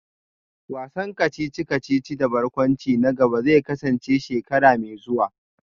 Wasan kacici-kacici da barkwanci na gaba zai kasance shekara mai zuwa